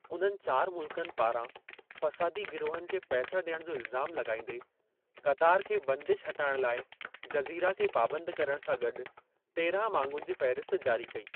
उन्हनि चारि मुल्क़नि पारां फ़सादी गिरोहनि खे पैसा ॾियण जो इल्ज़ामु लॻाईंदे, क़तारु खे बंदीश हटाइणु लाइ जज़ीरा खे पाबंद करण सां गॾु तेराहं मांगुनि जी फ़हिरिस्त जारी कई।